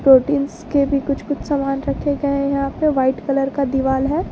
Proteins के भी कुछ कुछ सामान रखे गए हैं यहां पे वाइट कलर का दिवाल है।